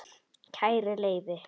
Kæri Leifi